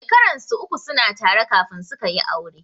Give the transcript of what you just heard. Shekaran su uku suna tare kafin sukayi aure.